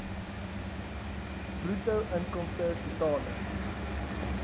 bruto inkomste totale